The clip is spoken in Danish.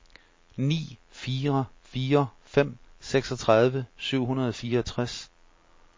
ni fire fire fem seksogtredive syv hundrede og fireogtres